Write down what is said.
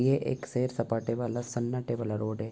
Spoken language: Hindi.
ये एक सेर-सपाटे वाला सन्नाटे वाला रोड है।